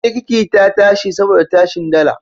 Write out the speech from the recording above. Tikiti ta tashi saboda tashin dala.